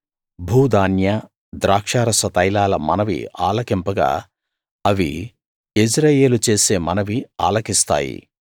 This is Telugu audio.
భూధాన్య ద్రాక్షారస తైలాల మనవి ఆలకింపగా అవి యెజ్రెయేలు చేసే మనవి ఆలకిస్తాయి